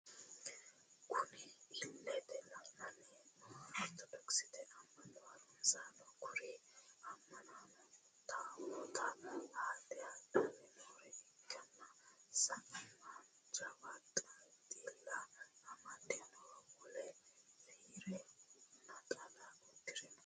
Kunni illete leelani noohu orittodoxete amano harunisaanoti kuri amanaanno taawota haadhe hadhanni noori hakiino sa'eena jawa xila amade no woleno fiire naxala uddire no.